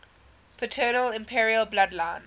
paternal imperial bloodline